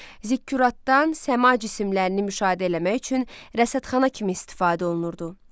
Zikkuratdan səma cisimlərini müşahidə eləmək üçün rəsadxana kimi istifadə olunurdu.